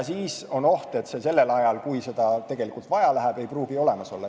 Siis on oht, et seda sellel ajal, kui seda tegelikult vaja läheb, ei pruugi olemas olla.